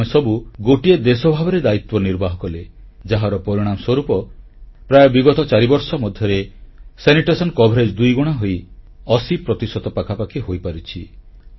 ଆମେସବୁ ଗୋଟିଏ ଦେଶ ଭାବରେ ଦାୟିତ୍ୱ ନିର୍ବାହ କଲେ ଯାହାର ପରିଣାମ ସ୍ୱରୂପ ପ୍ରାୟତଃ ବିଗତ ଚାରିବର୍ଷ ମଧ୍ୟରେ ପରିମଳ କଭରେଜ ଦୁଇଗୁଣା ହୋଇ 80 ପ୍ରତିଶତ ପାଖାପାଖି ହୋଇପାରିଛି